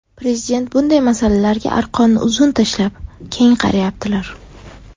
Prezident bunday masalalarga arqonni uzun tashlab, keng qarayaptilar.